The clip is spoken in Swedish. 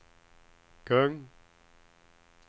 kung